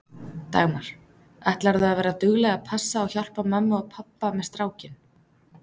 Dagmar: Ætlarðu að vera dugleg að passa og hjálpa mömmu og pabba með strákinn?